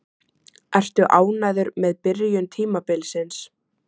Ertu ánægður með byrjun tímabilsins?